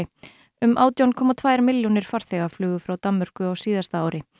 um átján komma tvær milljónir farþega flugu frá Danmörku á síðasta ári